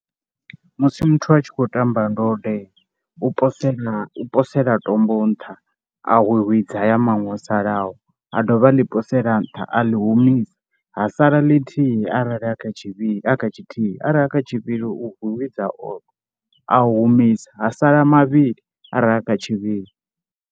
Musi muthu a tshi khou tamba ndode u posela i posela tombo nṱha a hwihwidza haya maṅwe o salaho, a dovha a ḽi posela nṱha a ḽi humisa. Ha sala ḽithihi arali a kha tshivhi, a kha tshithihi, arali a kha tshivhili u hwihwidza oṱhe, a humisa ha sala mavhili arali a kha tshivhili.